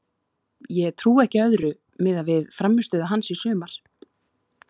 Ég trúi ekki öðru miðað við frammistöðu hans í sumar.